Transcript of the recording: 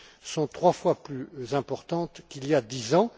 sont trois fois plus importantes qu'il y a 10 ans.